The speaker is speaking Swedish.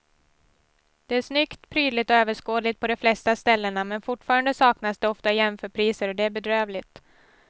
Det är snyggt, prydligt och överskådligt på de flesta ställena men fortfarande saknas det ofta jämförpriser och det är bedrövligt.